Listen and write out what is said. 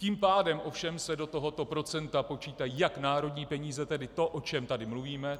Tím pádem se ovšem do tohoto procenta počítají jak národní peníze, tedy to, o čem tady mluvíme.